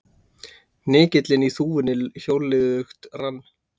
Hnykillinn í þúfunni hjólliðugt rann.